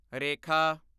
ਰੇਖਾ